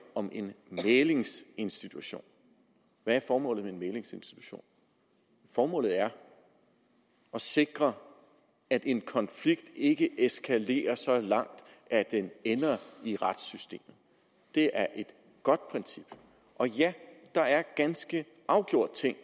om en mæglingsinstitution hvad er formålet med en mæglingsinstitution formålet er at sikre at en konflikt ikke eskalerer så langt at den ender i retssystemet det er et godt princip og ja der er ganske afgjort ting